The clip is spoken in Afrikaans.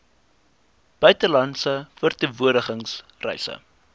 buitelandse verteenwoordiging reise